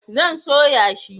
zan soya shi